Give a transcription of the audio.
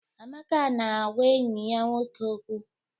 Amaka na-agwa enyi ya nwoke okwu.